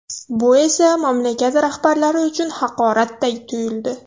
Bu esa mamlakat rahbarlari uchun haqoratday tuyuldi.